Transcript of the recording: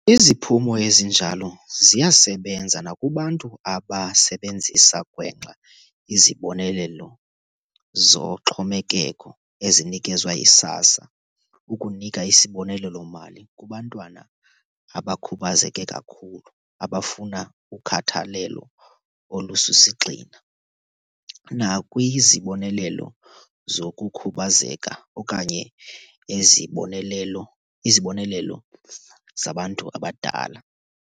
Iziphumo ezinjalo ziyasebenza nakubantu abasebenzisa gwenxa izibonelelo zoxhomekeko ezinikezwa yi-SASSA ukunika isibonelelo-mali kubantwana abakhubazeke kakhulu abafuna ukhathalelo olusisigxina, nakwizibonelelo zokukhubazeka okanye ezibonelelo izibonelelo zabantu abadala.